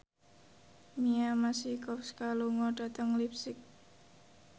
Mia Masikowska lunga dhateng leipzig